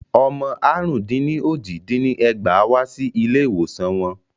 Ọmọ àrún-dín-ní-ójì dín ẹgbàá wá sí ilé ìwòsan wọn.